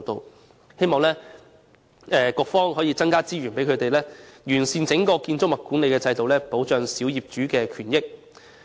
我希望局方能增加資源，以完善建築物管理的整體制度，保障小業主的權益。